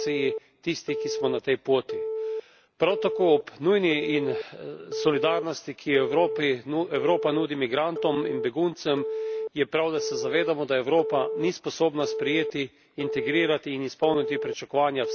Prav tako ob nujni solidarnosti, ki jo Evropa nudi migrantom in beguncem je prav, da se zavedamo, da Evropa ni sposobna sprejeti, integrirati in izpolniti pričakovanja vseh, ki vidijo Evropo kot obljubljeno deželo.